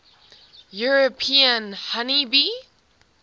european honey bee